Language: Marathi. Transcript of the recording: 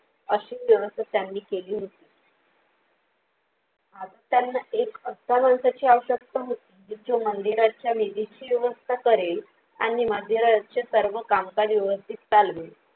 अशी व्यवस्था त्यांनी केली होती. आज त्यांना एक अशा माणसाची आवश्यकता होती. जो मंदिराच्या निधीची व्यवस्था करेल आणि मंदिराचे सर्व कामकाज व्यवस्थित चालवेल.